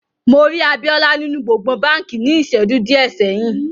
Mo rí Àbíolá nínu gbogbòn bánkì ní íṣẹ́ju diẹ sẹ̀yin.